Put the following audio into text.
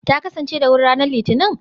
Ta kasance da wuri ranar Litinin?